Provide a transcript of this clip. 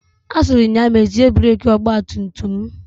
Asịrị m ya mezie breki ọgba tum tum m.